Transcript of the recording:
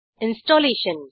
installation